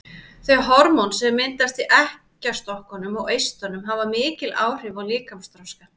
Þau hormón sem myndast í eggjastokkunum og eistunum hafa mikil áhrif á líkamsþroskann.